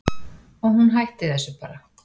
Og hún hætti þessu bara.